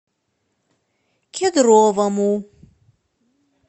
кедровому